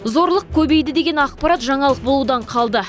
зорлық көбейді деген ақпарат жаңалық болудан қалды